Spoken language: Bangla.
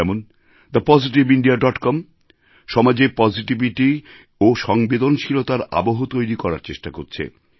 যেমন the positive India dot com সমাজে পজিটিভিটি ও সংবেদনশীলতার আবহ তৈরি করার চেষ্টা করছে